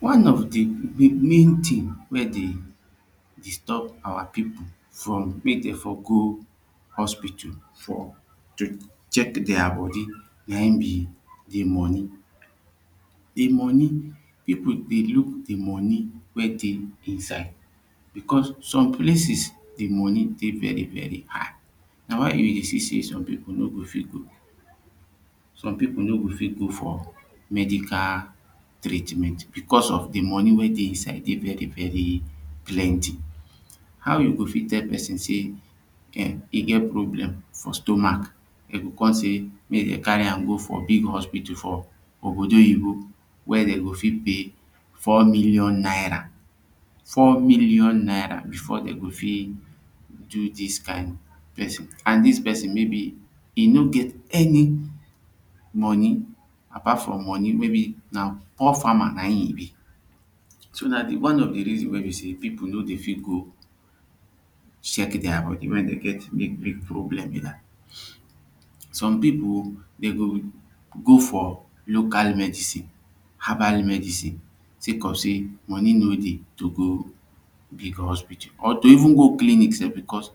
One of the main tins wey dey disturb our people from make dey for go hospital for to check dia body na him be the money. de money people dey look the money wey dey inside becos some places de money dey very very high na why you go see sey some people no go fit go for medical treatment becos of de money wey dey inside dey very very plenty how you go fit tell person sey e get problem for stomach dem go come say mek dem carry am go for big hospital ogbodoyibo wey dem go fit pay four Million naira four million naira before dem go fit do this kind this kind person and this person maybe e no get any money apart from money maybe na poor farmer na im him be so na de one of de reasons wey be sey people no dey fit go check dia body wen dey get big big problem be dat some people dem go go for local medicine herbal medicine take up say money no dey to go big hospital or to even go clinic sef becos